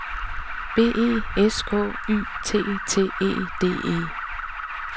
B E S K Y T T E D E